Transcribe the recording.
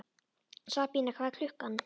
Sabína, hvað er klukkan?